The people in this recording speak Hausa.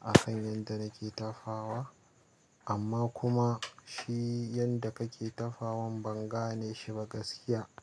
akan yanda nake tafawa, amma kuma shi yanda kake tafawan ban gane shi ba gaskiya,